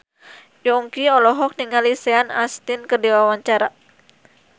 Yongki olohok ningali Sean Astin keur diwawancara